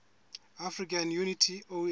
african unity oau